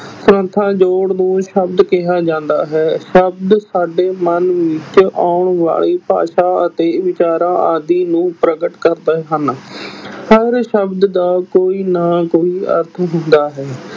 ਜੋੜ ਨੂੰ ਸ਼ਬਦ ਕਿਹਾ ਜਾਂਦਾ ਹੈ ਸ਼ਬਦ ਸਾਡੇ ਮਨ ਵਿੱਚ ਆਉਣ ਵਾਲੀ ਭਾਸ਼ਾ ਅਤੇ ਵਿਚਾਰਾਂ ਆਦਿ ਨੂੰ ਪ੍ਰਗਟ ਕਰਦੇ ਹਨ ਹਰ ਸ਼ਬਦ ਦਾ ਕੋਈ ਨਾ ਕੋਈ ਅਰਥ ਹੁੰਦਾ ਹੈ।